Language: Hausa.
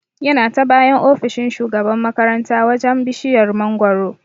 Yana ta bayan ofishin shugaban makaranta wajan bishiyar mangoro